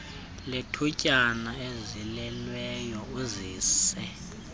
lethutyana ezelelweyo uzise